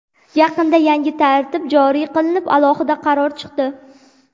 Yaqinda yangi tartib joriy qilinib, alohida qaror chiqdi.